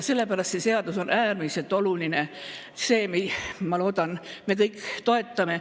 Sellepärast on see seadus äärmiselt oluline, see seadus, mida, ma loodan, me kõik toetame.